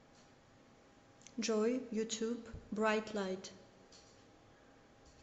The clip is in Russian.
джой ютуб брайтлайт